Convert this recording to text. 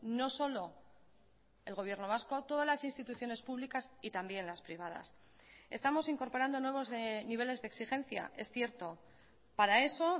no solo el gobierno vasco todas las instituciones públicas y también las privadas estamos incorporando nuevos niveles de exigencia es cierto para eso